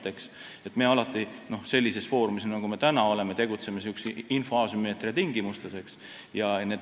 Me tegutseme alati – sellisel foorumil, nagu me täna oleme – info asümmeetria tingimustes.